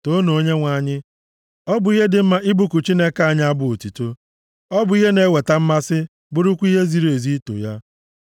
Toonu Onyenwe anyị! Ọ bụ ihe dị mma ịbụku Chineke anyị abụ otuto. Ọ bụ ihe na-eweta mmasị, bụrụkwa ihe ziri ezi ito ya!